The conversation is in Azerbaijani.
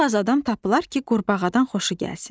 Çox az adam tapılar ki, qurbağadan xoşu gəlsin.